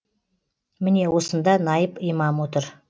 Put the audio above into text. міне осында наиб имам отыр